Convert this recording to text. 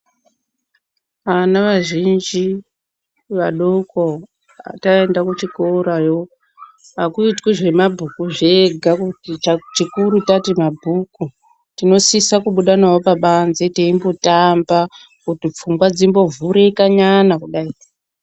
Vana vazhinji vadoko kana taenda kuchikorayo hakuitwi zvemabhuku zvega kuti chikuri tati mabhuku. Tinosisa kumbobuda navo pabanze, teimbotamba kuti pfungwa dzimbovhurikanyana kudai.